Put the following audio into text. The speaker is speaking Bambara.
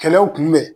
Kɛlɛw kun bɛn